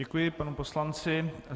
Děkuji panu poslanci.